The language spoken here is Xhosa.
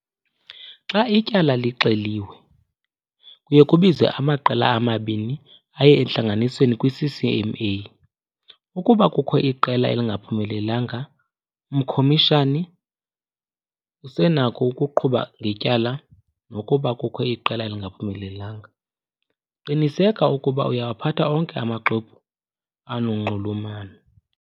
Xa ityala lixeliwe kuya kubizwa omabini amaqela ukuba aye entlanganisweni kwiCCMA. Ukuba kukho iqela elingaphumelelanga umkhomishani usenako ukuqhuba ngetyala nokuba kukho iqela elingaphumelelanga. Qiniseka ukuba uyawaphatha onke amaxwebhu anonxulumano.